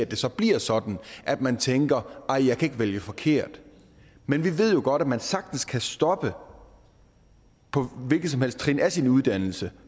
det så bliver sådan at man tænker nej jeg ikke vælge forkert men vi ved jo godt at man sagtens kan stoppe på et hvilket som helst trin af sin uddannelse